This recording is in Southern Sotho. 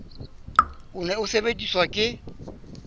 o ne o sebediswa ke